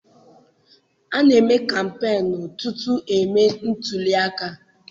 A na-eme kampeenu tutu e mee ntuliaka.